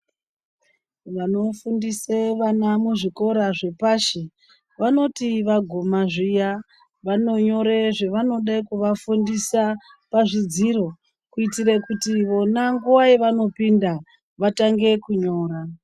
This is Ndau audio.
Vanofundise vana muzvikora zvepashi vanoti vaguma zviya vanonyore zvavanode kuvafundisa pazvidziro kuitira kuti vona nguwa yavanopinda vatange kunyora.